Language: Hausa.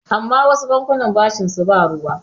amma wasu bankuna bashinsu ba ruwa